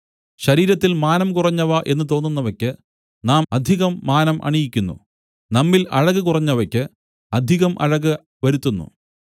ശരീരത്തിൽ മാനം കുറഞ്ഞവ എന്നു തോന്നുന്നവയ്ക്ക് നാം അധികം മാനം അണിയിക്കുന്നു നമ്മിൽ അഴക് കുറഞ്ഞവയ്ക്ക് അധികം അഴക് വരുത്തുന്നു